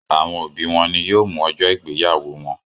Awọn obi wọn ni yóò mu ọjọ igbeyawo wọn